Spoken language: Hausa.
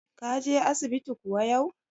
Ka je asibiti kuwa yau?